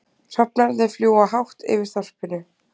Hrafnarnir fljúga hátt yfir þorpinu.